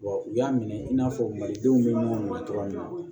u y'a minɛ i n'a fɔ malidenw bɛ ɲɔgɔn ma cogoya min na